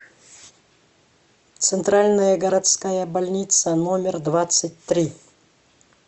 центральная городская больница номер двадцать три